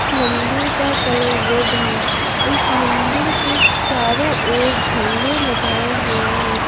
इस मंदिर का कलर रेड है इस मंदिर के चारों ओर झंडे लगाए हुए हैं।